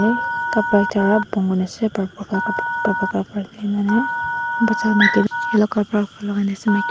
kapara ekta pa bon kurina ase purple la kapra kapra bacha maki toh yellow kapra lakai na ase.